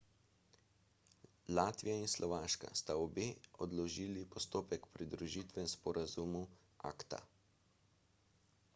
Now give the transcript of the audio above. latvija in slovaška sta obe odložili postopek pridružitve sporazumu acta